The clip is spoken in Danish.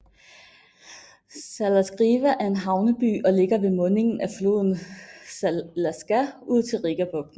Salacgrīva er en havneby og ligger ved mundingen af floden Salaca ud til Rigabugten